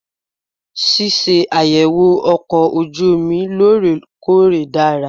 Ṣíṣàyẹ̀wò ọkọ̀ ojú omi lóòrè-kóòrè dára.